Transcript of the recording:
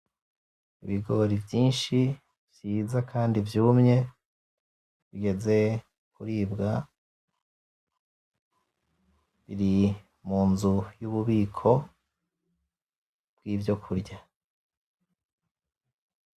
Ibigori vyinshi vyiza kandi vyumye bigeze kuribwa. Biri mu nzu y'ububiko bwivyo kurya.